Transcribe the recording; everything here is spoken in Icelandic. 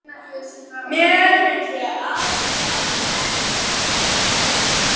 Og kallar til hennar að hún sé að koma.